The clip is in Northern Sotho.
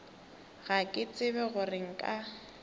ga ke tsebe gore nka